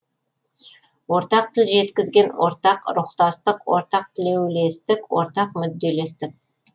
ортақ тіл жеткізген ортақ рухтастық ортақ тілеулестік ортақ мүдделестік